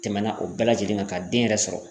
Tɛmɛna o bɛɛ lajɛlen kan ka den yɛrɛ sɔrɔ.